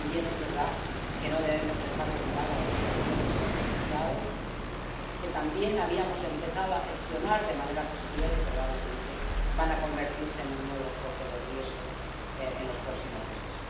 Y también es verdad que no debemos dejar de mirar a la situación de los refugiados, que también habíamos empezado a gestionar de manera positiva y que probablemente van a convertirse en un nuevo foco de riesgo en los próximos meses.